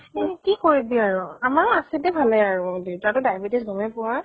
এ কি কৰিবি আৰু । আমাৰো আছে দে ভালেই আৰু । দুইতাৰ তো diabetes গʼমেই পোৱা ।